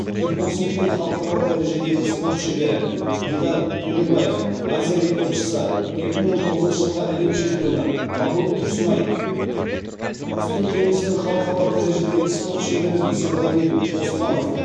кикбоксингтен халықаралық дәрежедегі спорт шебері дидар төлебаев азия рекордшысы екі мың он тоғызыншы жылғы әлем чемпионы қабыл тұрсынай үстел теннисінен халықаралық дәрежедегі спорт шебері дүйсенғали оспанов